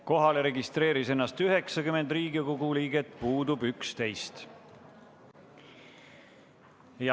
Kohalolijaks registreeris ennast 90 Riigikogu liiget, puudub 11.